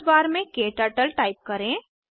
search bar में क्टर्टल type करें